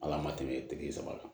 Ala ma tɛmɛ saba kan